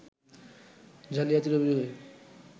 জালিয়াতির অভিযোগে